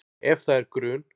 Ef það er grun